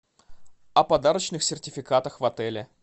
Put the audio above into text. о подарочных сертификатах в отеле